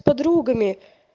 подругами